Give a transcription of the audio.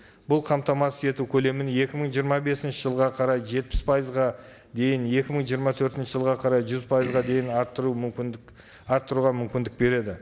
бұл қамтамасыз ету көлемін екі мың жиырма бесінші жылға қарай жетпіс пайызға дейін екі мың жиырма төртінші жылға қарай жүз пайызға дейін арттыру мүмкіндік арттыруға мүмкіндік береді